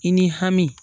I ni hami